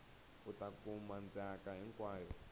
u ta kuma ndzhaka hinkwayo